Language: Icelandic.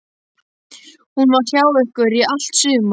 Hún var hjá ykkur í allt sumar.